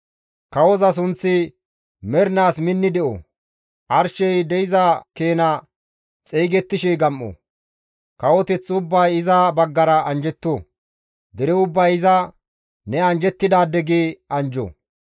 Kawoza sunththi mernaas minni de7o; arshey de7iza keena xeygettishe gam7o. Kawoteth ubbay iza baggara anjjetto; dere ubbay iza, «Ne anjjettidaade» gi anjjo.